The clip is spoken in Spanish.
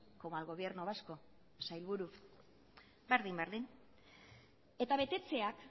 como al gobierno vasco sailburu berdin berdin eta betetzeak